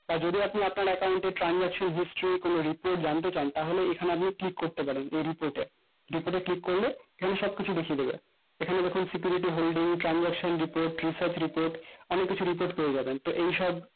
আহ যদি আপনি আপনার account এ transaction history কোনো report জানতে চান তাহলে এখানে আপনি click করতে পারেন report এ click করলে এখানে সব কিছু দেখিয়ে দেবে এখানে দেখা security holding transaction report research report অনেককিছু report পেয়ে যাবেন তো এইসব